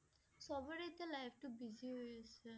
চবৰে এতিয়া life টো busy হৈ গৈছে